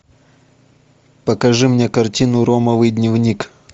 покажи мне картину ромовый дневник